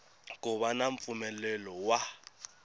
ku va na mpfumelelo wa